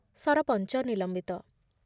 ସରପଞ୍ଚ ନିଲମ୍ବିତ